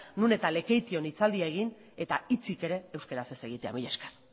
non eta lekeition hitzaldia egin eta hitzik ere euskaraz ez egitea mila esker